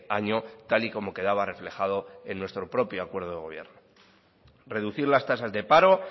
año tal y como quedaba reflejado en nuestro propio acuerdo de gobierno reducir las tasas de paro